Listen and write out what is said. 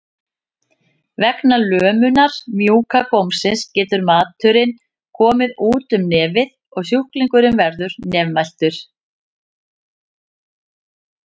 Vegna lömunar mjúka gómsins getur maturinn komið út um nefið og sjúklingurinn verður nefmæltur.